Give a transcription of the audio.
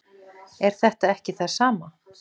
Er þetta ekki það sama?